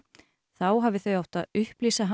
þá hafi þau átt að upplýsa hann